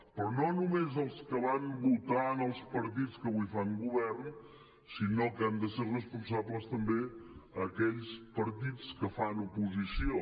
però no només els que van votar els partits que avui fan govern sinó que han de ser responsables també aquells partits que fan oposició